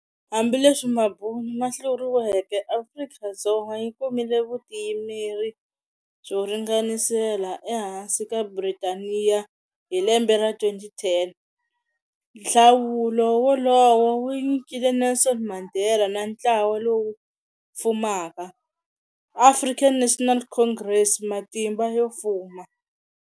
Hambileswi mabunu ma hluriweke, Afrika-Dzonga yi kumile vutiyimeri byo ringanisela e hansi ka Britaniya hi lembe ra 1910. Nhlawulo wolowo wu nyikile Nelson Mandela na ntlawa lowu fumaka, African National Congress matimba yo fuma.